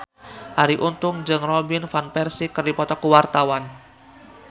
Arie Untung jeung Robin Van Persie keur dipoto ku wartawan